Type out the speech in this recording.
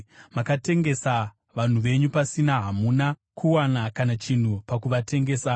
Makatengesa vanhu venyu pasina, hamuna kuwana kana chinhu pakuvatengesa.